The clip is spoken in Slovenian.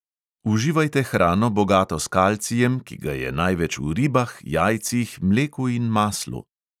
Uživajte hrano, bogato s kalcijem, ki ga je največ v ribah, jajcih, mleku in maslu.